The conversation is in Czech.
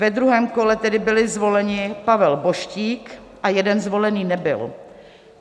Ve druhém kole tedy byli zvoleni Pavel Boštík a jeden zvolený nebyl.